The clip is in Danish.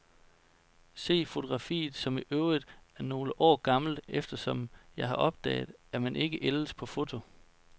Se fotografiet, som i øvrigt er nogle år gammelt, eftersom jeg har opdaget, at man ikke ældes på foto.